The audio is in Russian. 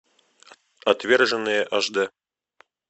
отверженные аш дэ